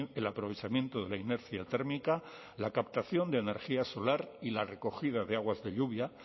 el aprovechamiento de la inercia térmica la captación de energía solar y la recogida de aguas de lluvia